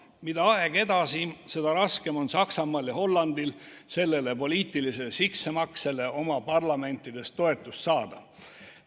Mida aeg edasi, seda raskem on Saksamaal ja Hollandil sellele poliitilise sissemaksele oma parlamendis toetust saada.